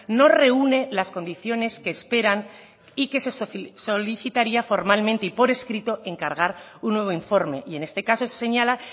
no reúne las condiciones que esperan y que se solicitaría formalmente y por escrito encargar un nuevo informe y en este caso se señala